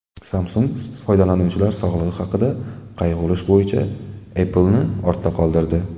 Samsung foydalanuvchilar sog‘lig‘i haqida qayg‘urish bo‘yicha Apple’ni ortda qoldirdi.